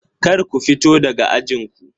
Kar ku fito daga ajin ku!